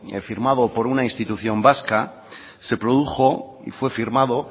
firmado por una institución vasca se produjo y fue firmado